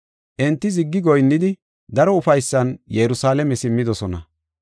Enti ziggi goyinnidi daro ufaysan Yerusalaame simmidosona.